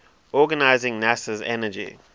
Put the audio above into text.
organizing nasa's energy